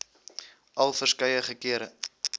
al verskeie kere